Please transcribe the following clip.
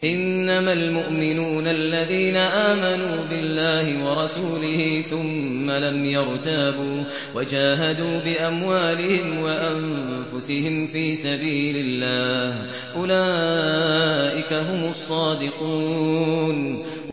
إِنَّمَا الْمُؤْمِنُونَ الَّذِينَ آمَنُوا بِاللَّهِ وَرَسُولِهِ ثُمَّ لَمْ يَرْتَابُوا وَجَاهَدُوا بِأَمْوَالِهِمْ وَأَنفُسِهِمْ فِي سَبِيلِ اللَّهِ ۚ أُولَٰئِكَ هُمُ الصَّادِقُونَ